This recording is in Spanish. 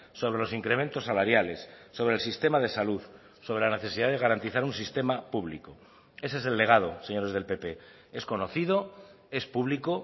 sobre los incrementos salariales sobre el sistema de salud sobre la necesidad de garantizar un sistema público ese es el legado señores del pp es conocido es público